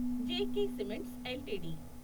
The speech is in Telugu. J K cements LTD